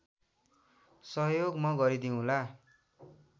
सहयोग म गरिदिउँला